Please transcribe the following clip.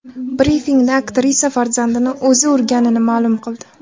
Brifingda aktrisa farzandini o‘zi urganini ma’lum qildi .